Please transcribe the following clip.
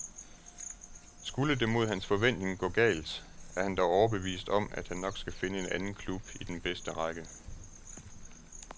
Skulle det mod hans forventning gå galt, er han dog overbevist om, at han nok skal finde en anden klub i den bedste række.